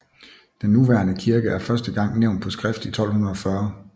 Den nuværende kirke er første gang nævnt på skrift i 1240